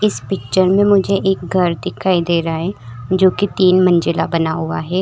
इस पिक्चर में मुझे एक घर दिखाई दे रहा है जो कि तीन मंजिला बना हुआ है।